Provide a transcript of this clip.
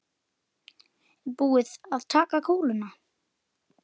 Er búið að taka kúluna?